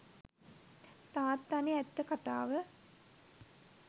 තාත්තනෙ ඇත්ත කතාව.